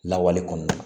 Lawale kɔnɔna na